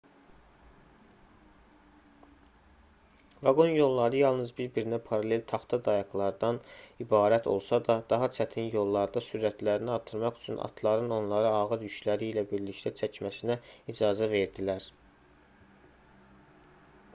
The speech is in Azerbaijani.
vaqon yolları yalnız bir-birinə paralel taxta dayaqlardan ibarət olsa da daha çətin yollarda sürətlərini artırmaq üçün atların onları ağır yükləri ilə birlikdə çəkməsinə icazə verdilər